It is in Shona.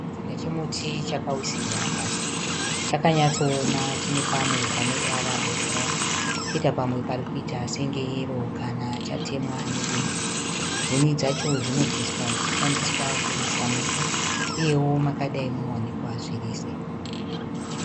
Chitsiga chomuti chakawisirwa pasi. Chakanyatsooma chine pamwe pane ruvara rwebhurawuni choita pamwe pari kuita senge yero kana chatemwa nedemo. Huni dzacho dzinobviswa dzichishandiswa kuvesa moto uyewo makadai munowanikwa zvirize.